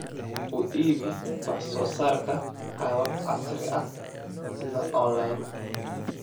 U iibi wax soo saarkaaga qaabab casri ah sida online.